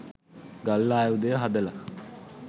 ගල් ආයුධය හදල